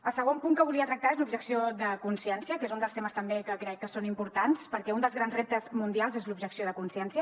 el segon punt que volia tractar és l’objecció de consciència que és un dels temes també que crec que és important perquè un dels grans reptes mundials és l’objecció de consciència